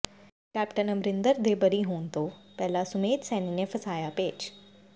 captain Amarinder ਦੇ ਬਰੀ ਹੋਣ ਤੋਂ ਪਹਿਲਾਂ ਸੁਮੇਧ ਸੈਣੀ ਨੇ ਫਸਾਇਆ ਪੇਚ